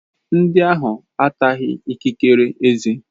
Ndị ahụ ataghị ikikere ezé.